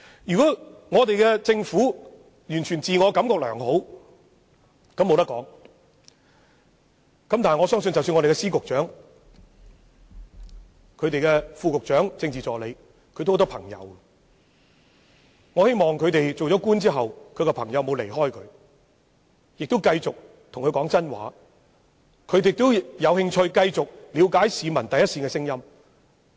如果政府完全自我感覺良好，我也無話可說，但我相信各司長、局長、副局長及政治助理也有很多朋友，希望他們當上官員後沒有被朋友疏遠，他們的朋友仍願意繼續對他們說真話，而他們亦有興趣繼續了解市民的心聲。